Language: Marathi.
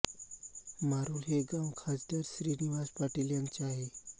मारुल हे गाव खासदार श्रीनिवास पाटील यांचे आहे